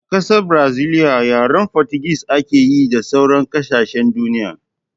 A ƙasar braziliya yaren fotugis ake yi da sauran kasashen duniya